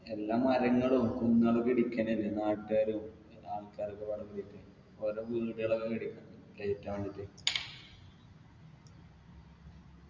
എല്ലാ കാര്യങ്ങളും കുന്നുകളൊക്കെ ഇടിക്കന്നെലെ നാട്ടുകാരും ആൾക്കാരു ഒക്കെ അവരുടെ വീടുകളൊക്കെ വേണ്ടീട്ട്